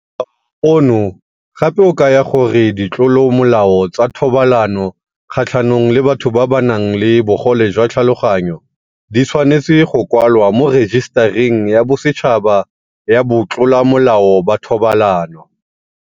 O no gape o kaya gore ditlolomolao tsa thobalano kgatlhanong le batho ba ba nang le bogole jwa tlhaloganyo di tshwanetse go kwalwa mo Rejisetareng ya Bosetšhaba ya Batlolamolao ba Thobalano.